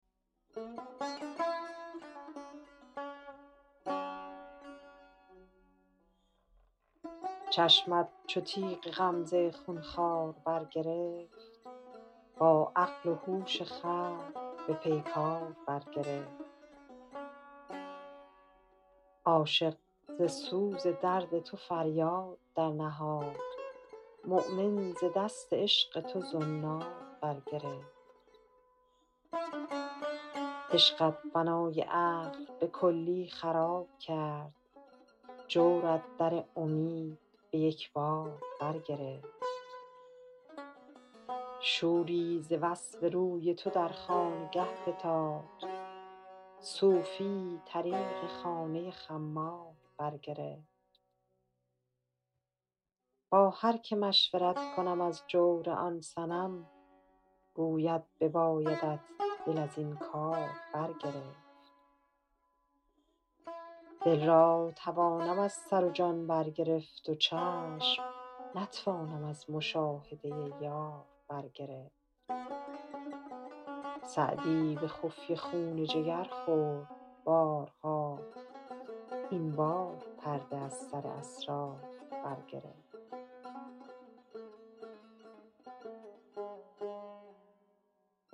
چشمت چو تیغ غمزه خون خوار برگرفت با عقل و هوش خلق به پیکار برگرفت عاشق ز سوز درد تو فریاد درنهاد مؤمن ز دست عشق تو زنار برگرفت عشقت بنای عقل به کلی خراب کرد جورت در امید به یک بار برگرفت شوری ز وصف روی تو در خانگه فتاد صوفی طریق خانه خمار برگرفت با هر که مشورت کنم از جور آن صنم گوید ببایدت دل از این کار برگرفت دل برتوانم از سر و جان برگرفت و چشم نتوانم از مشاهده یار برگرفت سعدی به خفیه خون جگر خورد بارها این بار پرده از سر اسرار برگرفت